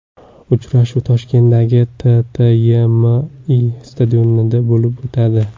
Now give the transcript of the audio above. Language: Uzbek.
Uchrashuv Toshkentdagi TTYMI stadionida bo‘lib o‘tadi.